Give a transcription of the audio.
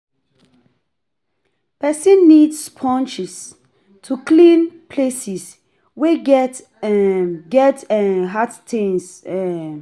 person need sponges to clean places wey get um get um hard stains um